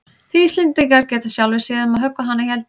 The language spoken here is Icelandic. Þið Íslendingar getið sjálfir séð um að höggva hana í eldinn.